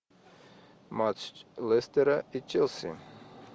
матч лестера и челси